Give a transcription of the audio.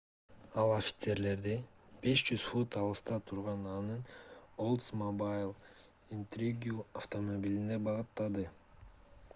ал офицерлерди 500 фут алыста турган анын oldsmobile intrigue автомобилине багыттады